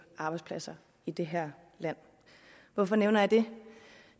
arbejdspladser i det her land hvorfor nævner jeg det